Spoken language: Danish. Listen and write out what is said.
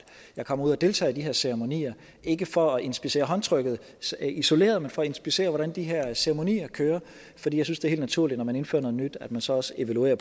jeg kommer ud og deltager i de her ceremonier ikke for at inspicere håndtrykket isoleret men for at inspicere hvordan de her ceremonier kører for jeg synes det er helt naturligt når man indfører noget nyt at man så også evaluerer